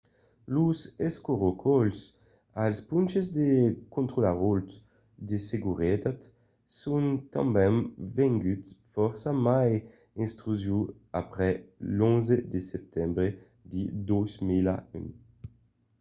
los escorcolhs als ponches de contraròtle de seguretat son tanben venguts fòrça mai intrusius après l'11 de setembre de 2001